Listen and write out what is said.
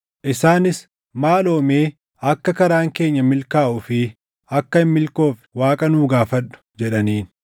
Isaanis, “Maaloo mee akka karaan keenya milkaaʼuu fi akka hin milkoofne Waaqa nuu gaafadhu” jedhaniin.